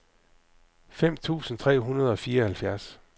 fem tusind tre hundrede og fireoghalvfjerds